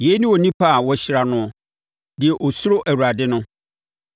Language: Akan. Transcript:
Yei ne onipa a wɔahyira noɔ, deɛ ɔsuro Awurade no.